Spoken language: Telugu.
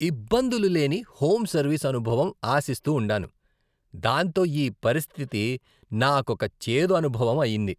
ఇబ్బందులు లేని హోమ్ సర్వీస్ అనుభవం ఆశిస్తూ ఉండాను, దాంతో ఈ పరిస్థితి నాకోక చేదు అనుభవం అయింది.